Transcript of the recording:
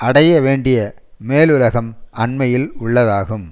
அடைய வேண்டிய மேலுலகம் அண்மையில் உள்ளதாகும்